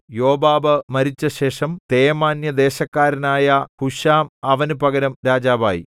യോബാബ് മരിച്ചശേഷം തേമാന്യദേശക്കാരനായ ഹൂശാം അവന് പകരം രാജാവായി